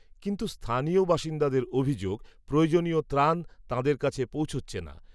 কিন্ত্ত স্থানীয় বাসিন্দাদের অভিযোগ, প্রয়োজনীয় ত্রাণ, তাঁদের কাছে পৌঁছচ্ছে না